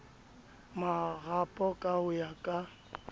marapo ka ho ya ka